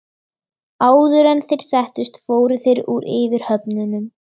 Áður en þeir settust fóru þeir úr yfirhöfnunum.